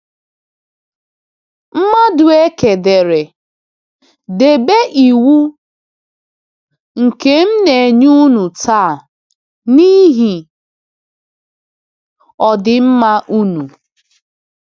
Madụeke dere: “Debe iwu... nke m na-enye unu taa, n’ihi ọdịmma unu.”